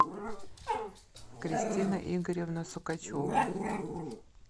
кристина игоревна сукачева